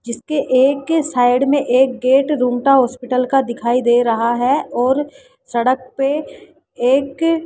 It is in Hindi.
जिसके एक ही साइड में एक गेट रूम का हॉस्पिटल का दिखाई दे रहा हैं और सड़क पे एक--